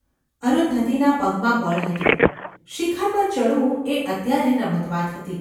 અરુંધતીના પગમાં બળ હતું. શિખર પર ચડવું એ અત્યારે રમતવાત હતી.